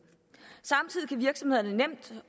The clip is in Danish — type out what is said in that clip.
og virksomhederne nemt